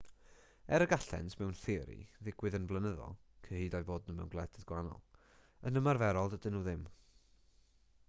er y gallent mewn theori ddigwydd yn flynyddol cyhyd â'u bod nhw mewn gwledydd gwahanol yn ymarferol dydyn nhw ddim